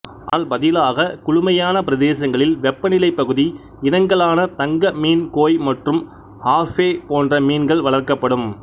ஆனால் பதிலாக குளுமையான பிரதேசங்களில் வெப்பநிலை பகுதி இனங்களான தங்க மீன் கோய் மற்றும் ஆர்ஃபே போன்ற மீன்கள் வளர்க்கப்படும்